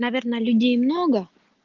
наверно людей много